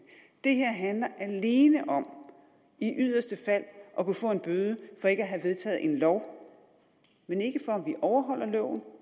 det her handler alene om i yderste fald at kunne få en bøde for ikke at have vedtaget en lov men ikke for om vi overholder loven